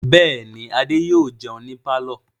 Bẹ́ẹ̀ ni, Adé yóò jẹun ní pálọ̀.